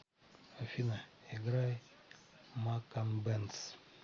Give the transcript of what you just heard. афина играй макан бенз